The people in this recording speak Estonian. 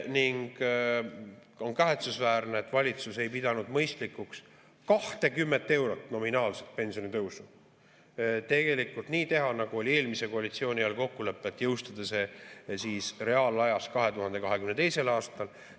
On kahetsusväärne, et valitsus ei pidanud mõistlikuks 20 eurot nominaalset pensionitõusu tegelikult nii teha, nagu oli eelmise koalitsiooni ajal kokkulepe, et jõustada see reaalajas 2022. aastal.